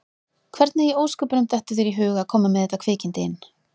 Hvernig í ósköpunum dettur þér í hug að koma með þetta kvikindi inn?